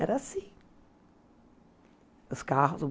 Era assim. Os carros